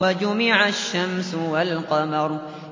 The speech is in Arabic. وَجُمِعَ الشَّمْسُ وَالْقَمَرُ